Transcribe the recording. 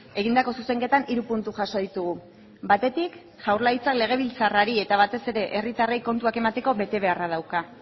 egindako zuzenketan hiru puntu jaso ditugu batetik jaurlaritzak legebiltzarrari eta batez ere herritarrei kontuak emateko betebeharra dauka